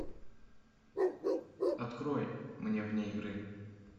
открой мне вне игры